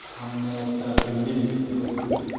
সামনে একটা বিল্ডিং দেখতে পারতাছি।